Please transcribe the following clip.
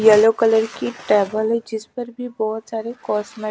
yellow colour की table है जिस पर भी बहोत सारी कॉस्मे--